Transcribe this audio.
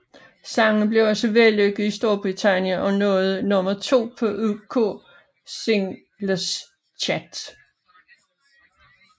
Sangen blev også vellykket i Storbritannien og nåede nummer to på UK Singles Chart